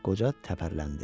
Qoca təpərləndi.